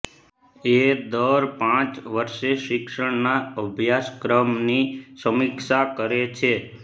એ દર પાંચ વર્ષે શિક્ષણના અભ્યાસક્રમની સમીક્ષા કરે છે